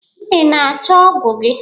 Ị na-achọ ọ́gụ̀ ji?